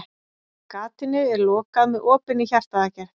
Gatinu er lokað með opinni hjartaaðgerð.